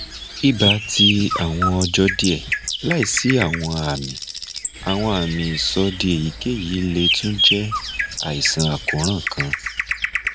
iba ti awọn ọjọ diẹ laisi awọn ami awọn ami isọdi eyikeyi le tun jẹ aisan akoran kan